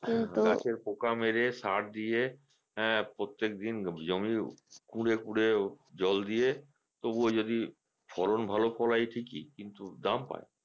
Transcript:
গাছে পোকা মেরে সার দিয়ে হ্যাঁ প্রত্যেকদিন জমি কুরে কুরে জল দিয়ে তবুও যদি ফলন ভালো ফলন ঠিকই কিন্তু দাম পায়না